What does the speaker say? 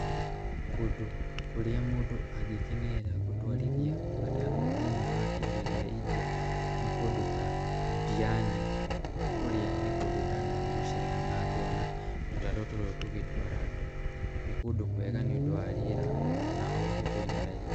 Kũndũ kũrĩa mũndũ angĩkenerera gũtwarithia gatarũ thĩiniĩ wa iria rĩa India, nĩ kũndũ ta Diani, kũrĩa nĩ kũndũ ndanathiĩ gũcera na ngona tũtarũ tũtũ tũgĩtwara andũ, nĩ kũndũ kwega nĩ ũndũ wa rĩera na oho kwĩna raithi.